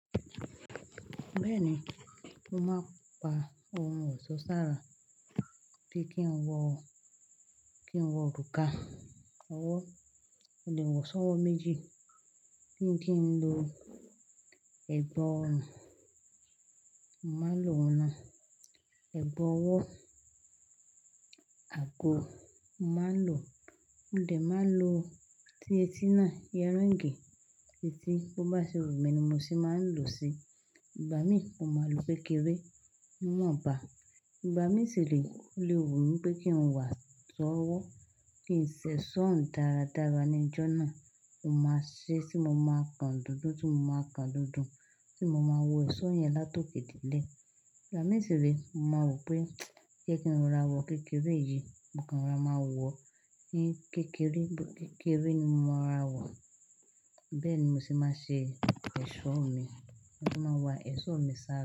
Bẹ́ẹ̀ni, mo máa ń pa ohun ọ̀ṣọ́ sára bí kí n wọ, kí n wọ òrùka, ọwọ́, mo lè wọ̀ sọ́wọ́ méjì. Kí n kì í ń lo ẹ̀gba ọrùn, mo màá ń lo oun ná ẹ̀gba ọwọ́. Ago màá lò, mo dẹ̀ máa lò tí etí náà, ear ringi, tí etí bó bá ṣe wù mi ni mo sì máa ń lò ó sí. Ìgbà mi mọ ma lò kékeré, ni wo n bá. Ìgbà mi sì re, ó lè wù mí pé kí n wa sọ́wọ́, kí n ṣe ṣọ́ọ̀ún dáradára níjọ́ náà. Mo máa ṣe tí mo máa kan dúdú, tí mo máa kan dúdú, tí mo máa wo ẹ̀ṣọ́ yẹn látòkéde ilé. Ìgbà mi sì re mọ maa wo pé jẹ́ kí n ro ra wọ̀ kékeré yìí, mo kanra máa wọ, ní kékeré, bó kékeré ni mo máa ra wọ̀. Bẹ́ẹ̀ ni mo se máa ń ṣe ẹ̀ṣọ́ mi. Mo máa wa ẹ̀ṣọ́ mi sára.